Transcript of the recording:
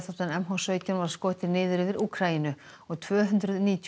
m h sautján var skotin niður yfir Úkraínu og tvö hundruð níutíu